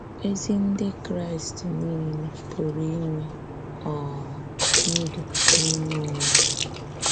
Ézì Ndị Kraíst niile pụrụ inwe um ‘ndụ n’ime onwe ha.’